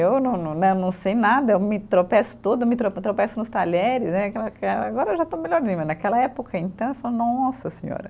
Eu não não né, não sei nada, eu me tropeço toda, me trope, tropeço nos talheres né, que agora eu já estou melhorzinha, mas naquela época, então, eu falo, nossa senhora.